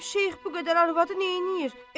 Bilmirəm şeyx bu qədər arvadı neynəyir?